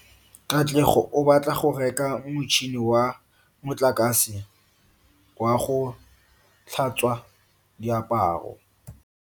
Katlego o batla go reka motšhine wa motlakase wa go tlhatswa diaparo.